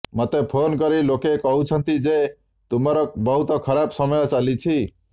ମୋତେ ଫୋନ୍ କରି ଲୋକେ କହୁଛନ୍ତି ଯେ ତୁମର ବହୁତ ଖରାପ ସମୟ ଚାଲିଛି